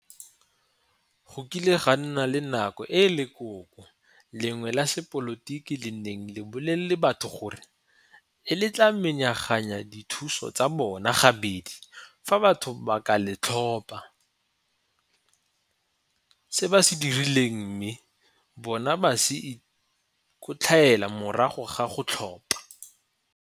Go kile ga nna le nako e lekoko lengwe la sepolotiki le nneng bolelele batho gore le tla menaganya dithuso tsa bona ga bedi fa batho ba ka le tlhopa. Se ba se dirileng mme bona ba se ikotlhaela morago ga go tlhopha.